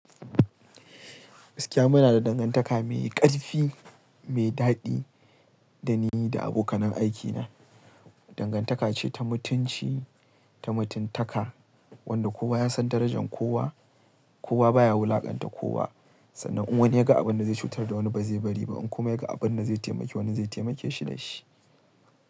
Gaskiya muna da dangantaka mai ƙarfi, mai daɗi da ni da abokanan aikina. Dangantaka ce ta mutunci, ta mutuntaka wanda kowa ya san darajan kowa. Kowa baya wulaƙanta kowa sannan in wani ya ga abin da zai cutar da wani ba zai bari ba in kuma ya ga abin da zai taimake wani zai taimake shi da shi.